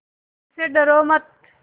मुझसे डरो मत